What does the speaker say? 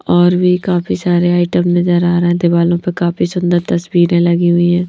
औ र भी काफी सारे आइटम नजर आ रहे हैं दीवालों पर काफी सुंदर तस्वीरें लगी हुई हैं।